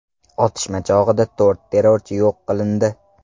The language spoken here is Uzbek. Otishma chog‘ida to‘rt terrorchi yo‘q qilindi.